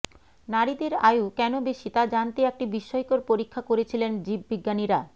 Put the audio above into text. নারীদের আয়ু কেন বেশি তা জানতে একটি বিস্ময়কর পরীক্ষা করেছিলেন জীববিজ্ঞানীরা